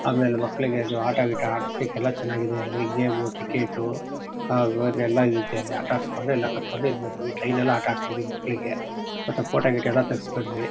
ಆಮೇಲೆ ಮಕ್ಕಳಿಗೆ ಅದು ಆಟ ಗಿಟಾ ಆಡ್ಸ್ಲಿಕ್ಕೆ ಎಲ್ಲಾ ಚೆನ್ನಾಗಿದೆ ಅಲ್ಲಿ ಗೆಮು ಟಿಕೇಟು ಎಲ್ಲಾ ಇದೆ ಅಲ್ಲಿ ಎಲ್ಲಾ ಆಟ ಆಡ್ಸ್ಕೊಂಡು ಎಲ್ಲಾ ಕರ್ಕೊಂಡು ಇಲ್ ಬಂದ್ವಿ. ಟ್ರೈನ್ ಎಲ್ಲಾಆಟ ಆಡ್ಸಿದ್ವಿ ಮಕ್ಕಳಿಗೆ ಮತ್ತು ಫೋಟೋ ಗಿಟೋ ಎಲ್ಲಾ ತೆಗ್ಸ್ಕೊಂಡ್ವಿ.